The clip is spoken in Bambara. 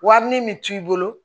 Wari min bɛ t'i bolo